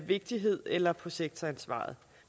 vigtighed eller på sektoransvaret